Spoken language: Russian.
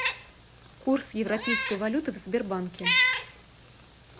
курс европейской валюты в сбербанке